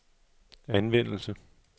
anvendelse